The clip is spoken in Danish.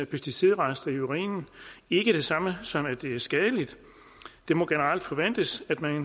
pesticidrester i urinen ikke det samme som at det er skadeligt det må generelt forventes at man